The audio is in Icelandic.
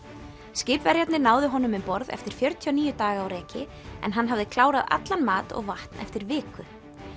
skipverjarnir náðu honum um borð eftir fjörutíu og níu daga á reki en hann hafði klárað allan mat og vatn eftir viku